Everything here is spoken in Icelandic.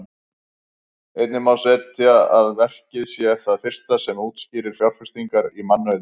Einnig má segja að verkið sé það fyrsta sem útskýrir fjárfestingar í mannauði.